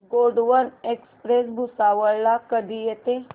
Gondwana express Bhusawal ला कधी येते